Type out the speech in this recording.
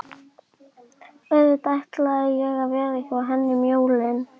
Auðvitað ætlaði ég að vera hjá henni um jólin.